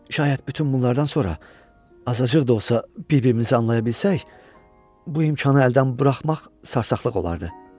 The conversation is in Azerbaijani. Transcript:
Şayət bütün bunlardan sonra azacıq da olsa bir-birimizi anlaya bilsək, bu imkanı əldən buraxmaq sarsaqlıq olardı.